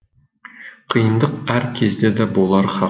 қиындық әр кездеде болары хақ